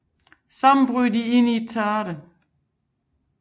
Sammen bryder de ind i et teater